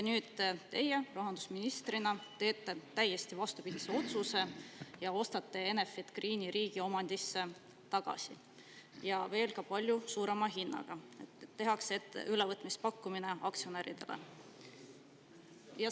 Nüüd teie rahandusministrina teete täiesti vastupidise otsuse ja ostate Enefit Greeni riigi omandisse tagasi, kusjuures veel palju suurema hinnaga, tehakse ülevõtmispakkumine aktsionäridele.